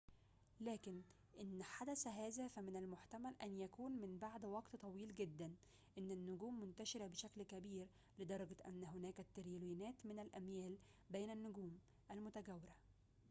لكن إن حدث هذا فمن المحتمل أن يكون من بعد وقت طويل جداً إن النجوم منتشرة بشكل كبير لدرجة أن هنالك التريليونات من الأميال بين النجوم المتجاورة